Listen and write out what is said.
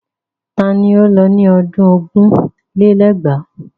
Ta ni ó lọ ní ọdún ogún lé lẹ́gbàá?